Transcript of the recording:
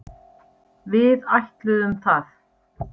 Við ætluðum það.